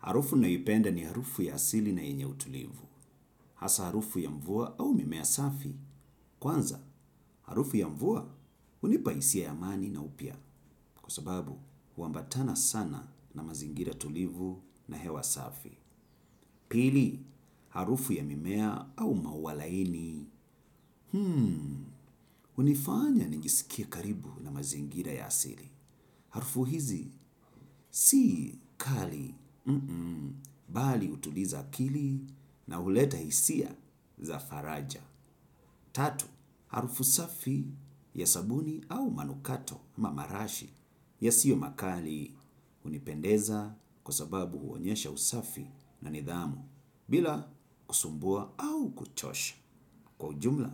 Harufu nayoipenda ni harufu ya asili na yenye utulivu. Hasa harufu ya mvua au mimea safi. Kwanza, harufu ya mvua hunipa hisia ya amani na upya. Kwa sababu, huambatana sana na mazingira tulivu na hewa safi. Pili, harufu ya mimea au maua laini. Hunifanya nijisikie karibu na mazingira ya asili. Harufu hizi, sii kali. Bali hutuliza akili na huleta isia za faraja. Tatu, harufu safi ya sabuni au manukato ama marashi yasiyo makali hunipendeza kwa sababu huonyesha usafi na nidhamu bila kusumbua au kuchosha kwa ujumla